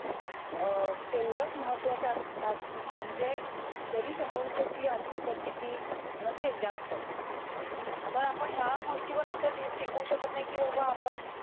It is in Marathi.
अं तेवढच महत्वाच म्हणजे जरी समोरच्याची आर्थिक परिस्थिती नसेल जास्त तर आपण या गोष्टीवर असं टिकू शकत नाही कि बाबा आपण